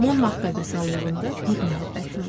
Monmart qəbristanlığında bir məhəbbətim var.